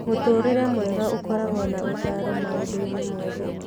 Mũtũũrĩre mwega ũkoragwo na ũtaaro maũndũ-inĩ mothe.